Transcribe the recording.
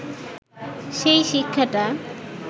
সেই শিক্ষাটা